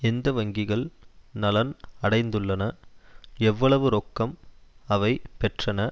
எந்த வங்கிகள் நலன் அடைந்நதுள்ளன எவ்வளவு ரொக்கம் அவை பெற்றன